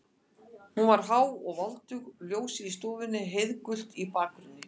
Hún var há og voldug og ljósið í stofunni heiðgult í bakgrunni.